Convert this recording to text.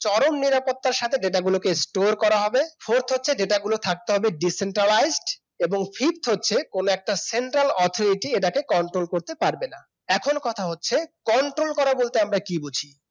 চরম নিরাপত্তার সাথে data গুলোকে store করা হবে fourth হচ্ছে data গুলোকে থাকতে হবে decentraliz ed এবং fifth হচ্ছে কোন একটা central authority এটাকে control করতে পারবে না। এখন কথা হচ্ছে control করা বলতে আমরা কি বুঝি